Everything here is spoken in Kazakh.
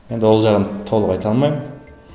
енді ол жағын толық айта алмаймын